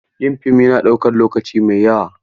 Yin fim yana ɗaukan lokaci mai yawa.